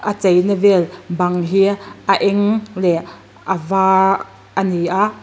a chei na vel bang hi a eng leh a var a ni a.